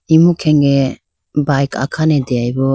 imu khenge bike akhane deyayi bo.